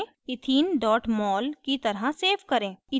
ethene mol की तरह save करें